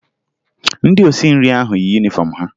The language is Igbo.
Ndị osinri ahụ yi yunifọmụ ha